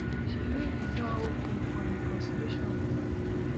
she leave di door open for a reconciliation with am